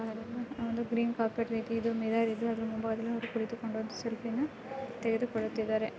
ಒಂದು green carpet ರೀತಿ ಮುಂಭಾಗ ಮಿರರ್ ಅದರ ಮುಂದೆ ಕುಳಿತು ಸೆಲ್ಫಿ ತೆಗೆದುಕೊಳುವುತ್ತಿದಾರೆ .